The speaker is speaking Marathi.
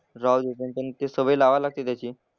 राहू दे पण ते सवय लावायला लागते त्याची.